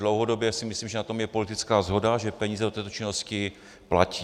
Dlouhodobě si myslím, že je na tom politická shoda, že peníze do této činnosti patří.